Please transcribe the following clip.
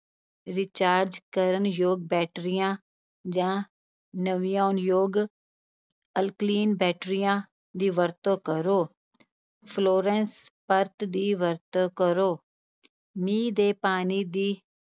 recharge ਕਰਨ ਯੋਗ ਬੈਟਰੀਆਂ ਜਾਂ ਨਵਿਆਉਣਯੋਗ ਅਲਕਲੀਨ ਬੈਟਰੀਆਂ ਦੀ ਵਰਤੋਂ ਕਰੋ, ਫਲੋਰੈਂਸ ਪਰਤ ਦੀ ਵਰਤੋਂ ਕਰੋ ਮੀਂਹ ਦੇ ਪਾਣੀ ਦੀ